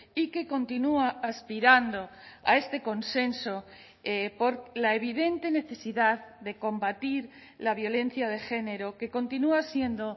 y que continúa aspirando a este consenso por la evidente necesidad de combatir la violencia de género que continúa siendo